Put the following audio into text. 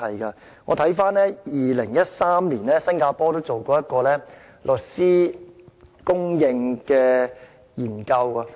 新加坡在2013年曾進行一項有關律師供應的研究。